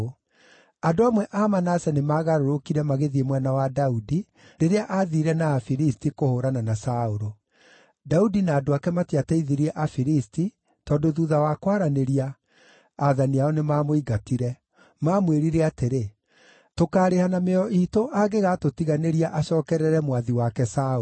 Andũ amwe a Manase nĩmagarũrũkire magĩthiĩ mwena wa Daudi rĩrĩa aathiire na Afilisti kũhũũrana na Saũlũ. (Daudi na andũ ake matiateithirie Afilisti, tondũ thuutha wa kwaranĩria, aathani ao nĩmamũingatire. Maamwĩrire atĩrĩ, “Tũkaarĩha na mĩoyo iitũ angĩgatũtiganĩria acookerere mwathi wake Saũlũ.”)